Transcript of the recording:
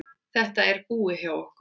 Þetta er búið hjá okkur!